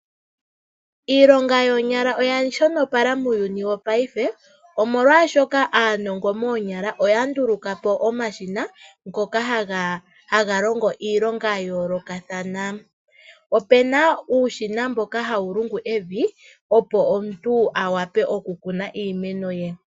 Iilonga yokoonyala oya shonopala muuyuni wo ngaashingeyi . Molwaashoka aanongo moonyala oya nduluka po omshina ngoka haga longo iilonga ya yoolokathana . Opuna uushina mboka hawu lungu evi opo omuntu avule oku kuna iimeno ye.